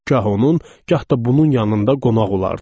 Gah onun, gah da bunun yanında qonaq olardı.